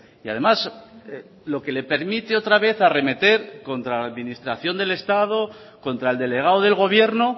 y además lo que le permite otra vez arremeter contra la administración del estado contra el delegado del gobierno